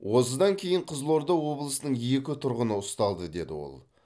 осыдан кейін қызылорда облысының екі тұрғыны ұсталды деді ол